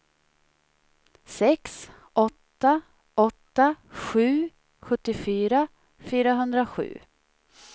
sex åtta åtta sju sjuttiofyra fyrahundrasju